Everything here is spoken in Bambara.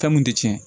Fɛn mun tɛ tiɲɛ